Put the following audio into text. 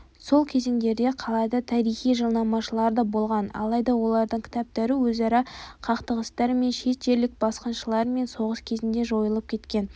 сол кезеңдерде қалада тарихшы-жылнамашылар да болған алайда олардың кітаптары өзара қақтығыстар мен шет жерлік басқыншылармен соғыс кезінде жойылып кеткен